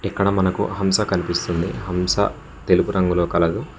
ఇక్కడ మనకు హంస కనిపిస్తుంది హంస తెలుపు రంగులో కలదు.